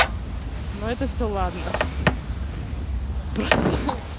но это все ладно просто